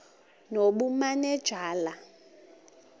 nobumanejala